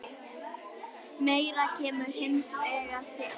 Meira kemur hins vegar til.